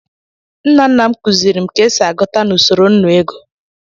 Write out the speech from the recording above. Nna nna m kuziri m ka e si agụta na usoro nnu ego.